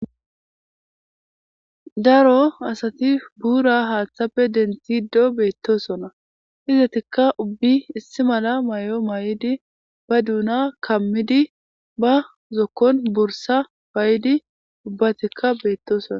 daro asati buura haaththafe dentido beettosona hizatikka ubbi issi mala may7o may7idi ba duuna kammidi ba zokkon bursa bay7idi ubbatikka beettosona